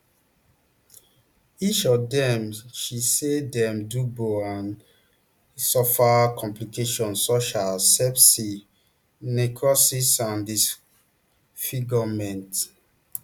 each of dem she say dem do bbl and and suffer complications such as sepsis necrosis and disfigurement